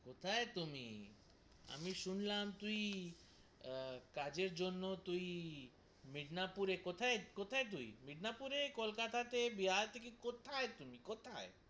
কথায় তুমি? আমি শুনলাম তুই আহ কাজের জন্য তুই মিদনাপুরে কোথায়, কোথায় তুই মিনাপুরে, কলকাতায়, বিহার তে কোথায় তুমি, কোথায়?